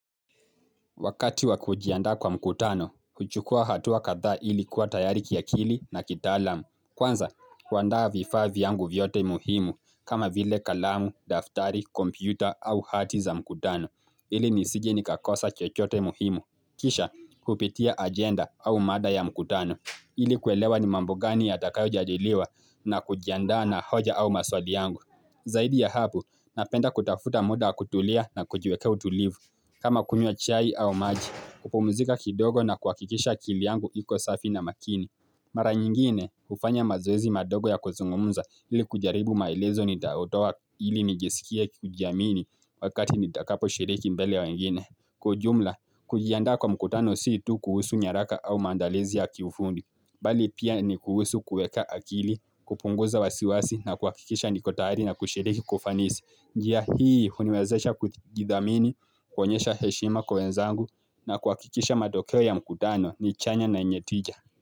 Wakati wa kujiandaa kwa mkutano, kuchukua hatu wa kadhaa ili kuwa tayari kiakili na kitaalamu. Kwanza, kuandaa vifaa vyangu vyote muhimu kama vile kalamu, daftari, kompyuta au hati za mkutano. Ili nisije nikakosa chochote muhimu. Kisha, kupitia ajenda au mada ya mkutano. Ili kuelewa ni mambo gani yatakayo jadiliwa na kujiandaa na hoja au maswali yangu. Zaidi ya hapo, napenda kutafuta muda wa kutulia na kujiwekea utulivu. Kama kunywa chai au maji, kupumzika kidogo na kuhakikisha akili yangu iko safi na makini. Mara nyingine, hufanya mazoezi madogo ya kuzungumza ili kujaribu maelezo nitayotoa ili nijisikie kujiamini wakati nitakaposhiriki mbele ya wengine. Kwa ujumla, kujiandaa kwa mkutano si tu kuhusu nyaraka au maandalizi ya kiufundi. Bali pia ni kuhusu kuweka akili, kupunguza wasiwasi na kuhakikisha niko tayari na kushiriki kwa ufanisi. Njia hii uhuniwezesha kujidhamini kuonyesha heshima kwa wenzangu na kuhakikisha matokeo ya mkutano ni chanya na yenye tija.